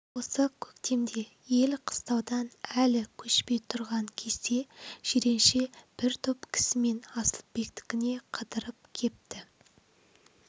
осы көктемде ел қыстаудан әлі көшпей тұрған кезде жиренше бір топ кісімен асылбектікіне қыдырып кепті